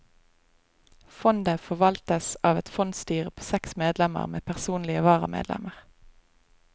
Fondet forvaltes av et fondsstyre på seks medlemmer med personlige varamedlemmer.